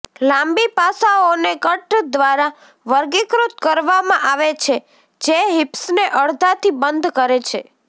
લાંબી પાસાઓને કટ દ્વારા વર્ગીકૃત કરવામાં આવે છે જે હિપ્સને અડધાથી બંધ કરે છે